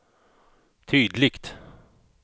tydligt